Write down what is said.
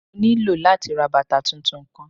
Mo nilo lati ra bata tuntun kan.